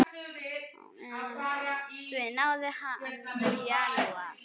Því náði hann í janúar.